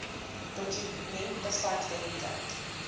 dokument bevat wenke